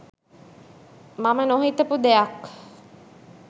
මම නොහිතපු ‍දෙයක්